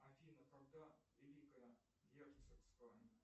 афина когда великое герцогство